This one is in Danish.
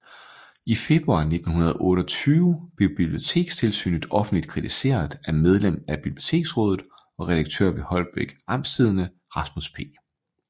I februar 1928 blev Bibliotekstilsynet offentligt kritiseret af medlem af Biblioteksrådet og redaktør ved Holbæk Amtstidende Rasmus P